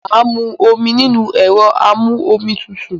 Mà á mú omi nínú ẹ̀rọ amú-omi tutù.